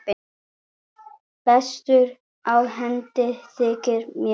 Bestur á hendi þykir mér.